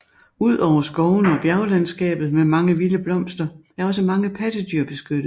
Ud over skovene og bjerglandskabet med mange vilde blomster er også mange pattedyr beskyttet